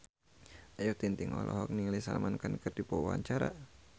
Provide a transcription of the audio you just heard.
Ayu Ting-ting olohok ningali Salman Khan keur diwawancara